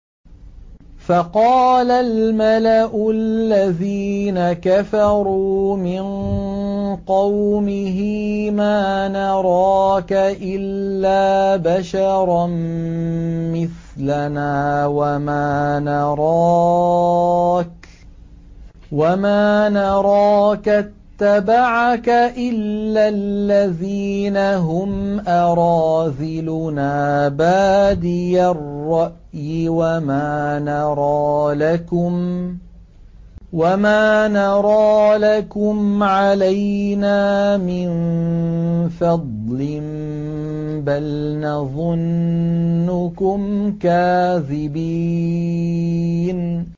فَقَالَ الْمَلَأُ الَّذِينَ كَفَرُوا مِن قَوْمِهِ مَا نَرَاكَ إِلَّا بَشَرًا مِّثْلَنَا وَمَا نَرَاكَ اتَّبَعَكَ إِلَّا الَّذِينَ هُمْ أَرَاذِلُنَا بَادِيَ الرَّأْيِ وَمَا نَرَىٰ لَكُمْ عَلَيْنَا مِن فَضْلٍ بَلْ نَظُنُّكُمْ كَاذِبِينَ